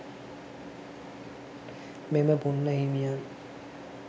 මෙම පුණ්ණහිමියන්